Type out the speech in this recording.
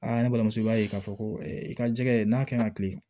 ne balimamuso i b'a ye k'a fɔ ko i ka jɛgɛ n'a kaɲi ka tilen